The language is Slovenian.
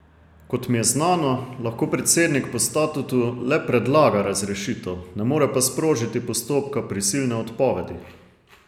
Kot mi je znano, lahko predsednik po statutu le predlaga razrešitev, ne more pa sprožiti postopka prisilne odpovedi.